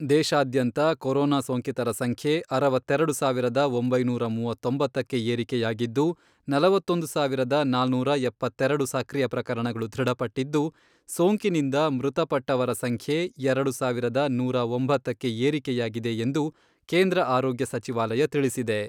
ದೇಶಾದ್ಯಂತ ಕೊರೊನಾ ಸೋಂಕಿತರ ಸಂಖ್ಯೆ ಅರವತ್ತೆರೆಡು ಸಾವಿರದ ಒಂಬೈನೂರ ಮೂವತ್ತೊಂಬತ್ತಕ್ಕೆ ಏರಿಕೆಯಾಗಿದ್ದು, ನಲವತ್ತೊಂದು ಸಾವಿರದ ನಾನೂರ ಎಪ್ಪತ್ತೆರೆಡು ಸಕ್ರಿಯ ಪ್ರಕರಣಗಳು ದೃಢಪಟ್ಟಿದ್ದು, ಸೋಂಕಿನಿಂದ ಮೃತಪಟ್ಟವರ ಸಂಖ್ಯೆ ಎರಡು ಸಾವಿರದ ನೂರಾ ಒಂಬತ್ತಕ್ಕೆ ಏರಿಕೆಯಾಗಿದೆ ಎಂದು ಕೇಂದ್ರ ಆರೋಗ್ಯ ಸಚಿವಾಲಯ ತಿಳಿಸಿದೆ.